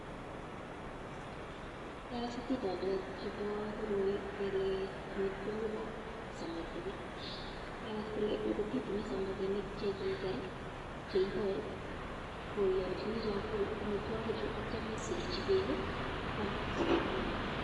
Kiagas atindonik chebo koroi, kele amitwogikab samakinik. Kiagas kole ngot itinye samakinik chekiger, cheiboe ko ialchini chakula amitwogichu atio miserchi beek, kwam samakinik.